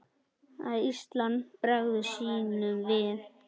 að Ísland bregður sínum sið